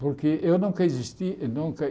Porque eu nunca existi nunca